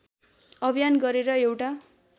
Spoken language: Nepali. अभियान गरेर एउटा